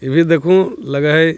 यह भी देखूँ लगा है।